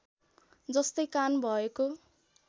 जस्तै कान भएको